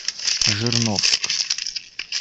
жирновск